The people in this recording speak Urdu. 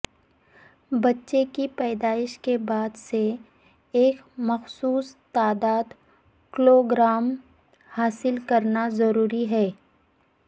بچے کی پیدائش کے بعد سے ایک مخصوص تعداد کلوگرام حاصل کرنا ضروری ہے